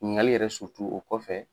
Ɲiniŋali yɛrɛ o kɔfɛ